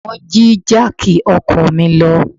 Wọ́n jí jáàkì ọkọ̀ mi lọ.